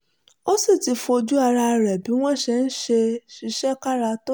ó sì ti fojú ara rẹ̀ rí bí wọ́n ṣe ń ṣiṣẹ́ kára tó